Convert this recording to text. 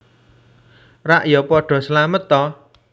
Rak ya padha slamet ta